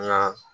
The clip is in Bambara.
Nka